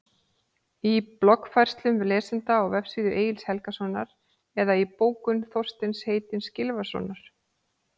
Í bloggfærslum lesenda á vefsíðu Egils Helgasonar eða í bókum Þorsteins heitins Gylfasonar?